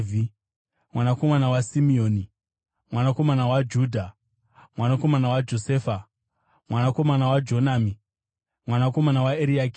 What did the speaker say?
mwanakomana waSimeoni, mwanakomana waJudha, mwanakomana waJosefa, mwanakomana waJonami, mwanakomana waEriakimi,